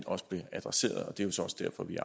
og det er jo så også derfor vi